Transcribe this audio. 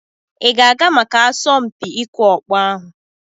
Ị ga-aga maka asọmpi ịkụ ọkpọ ahụ?